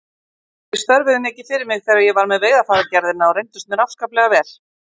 Þeir störfuðu mikið fyrir mig þegar ég var með Veiðarfæragerðina og reyndust mér afskaplega vel.